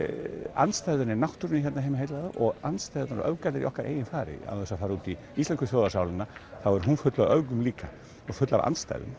andstæðan í náttúrunni hérna heima heillar þá og andstæðurnar og öfgarnar í okkar eigin far án þess að fara út í íslensku þjóðarsálina þá er hún full af öfgum líka og full af andstæðum